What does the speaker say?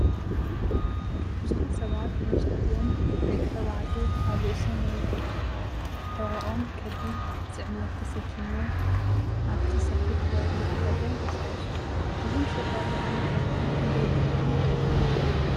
ብዙሓት ሰባት፡ መብዛሕትኦም ደቂ ተባዕትዮ፡ ኣብ ርእሶም ወይ ሕቖኦም ከቢድ ጽዕነት ተሰኪሞም ኣብቲ ሰፊሕ ጎደና ዕዳጋ ይንቀሳቐሱ። እዞም ሸቃሎ ኣብ መዓልቲ ክንደይ ክረኽቡ ይኽእሉ?